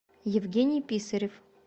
евгений писарев